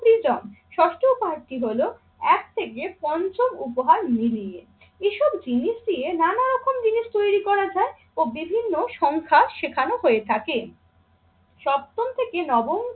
পিজম। ষষ্ঠ উপহারটি হল এক থেকে পঞ্চম উপহার মিলিয়ে। এসব জিনিস দিয়ে নানা রকম জিনিস তৈরি করা যায় ও বিভিন্ন সংখ্যা শেখানো হয়ে থাকে। সপ্তম থেকে নবম